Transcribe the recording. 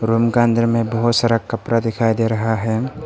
Room का अंदर में बहुत सारा कपड़ा दिखाई दे रहा है।